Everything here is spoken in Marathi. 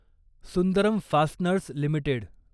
Sundaram fasteners limited